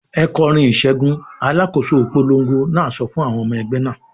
"Ẹ kọrin ìṣẹ́gun!" Alákòóso ìpolongo náà sọ fún àwọn ọmọ ẹgbẹ́ náà.